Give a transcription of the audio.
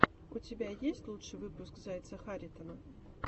у тебя есть лучший выпуск зайца харитона